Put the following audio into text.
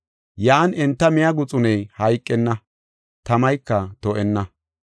Yan enta miya guxuney hayqenna, tamayka to7enna.